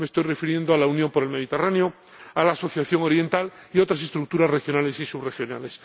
Me estoy refiriendo a la Unión para el Mediterráneo, a la Asociación Oriental y a otras estructuras regionales y subregionales.